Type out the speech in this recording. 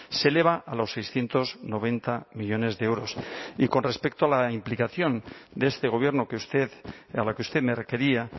se eleva a los seiscientos noventa millónes de euros y con respecto a la implicación de este gobierno que usted a la que usted me requería